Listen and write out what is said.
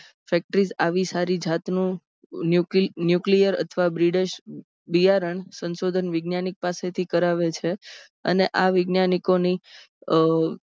factory આવી સારી જાતનું nuclear અથવા બિયારણ સંશોધન વૈજ્ઞાનિક પાસેથી કરાવે છે. અને આ વૈજ્ઞાનિકોની